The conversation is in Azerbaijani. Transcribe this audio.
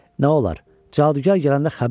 Nə olar, cadugar gələndə xəbər ver.